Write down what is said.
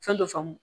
Fɛn dɔ faamu